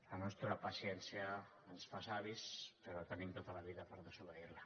la nostra paciència ens fa savis però tenim tota la vida per desobeir la